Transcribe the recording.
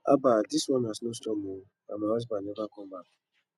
haba dis one na snow storm oo and my husband never come back